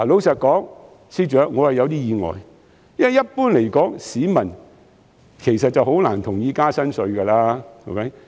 司長，坦白說，我是有點意外的，因為一般來說，市民很難會同意增加新稅項。